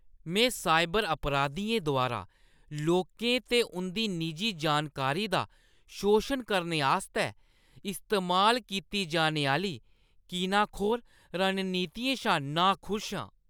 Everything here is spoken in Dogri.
में साइबर अपराधियें द्वारा लोकें ते उंʼदी निजी जानकारी दा शोशन करने आस्तै इस्तेमाल कीती जाने आह्‌ली कीनाखोर रणनीतियें शा नाखुश आं।